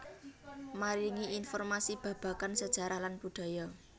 Maringi informasi babagan sejarah lan budaya